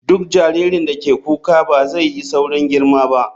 Duk jaririn da ke kuka ba zai yi saurin girma ba.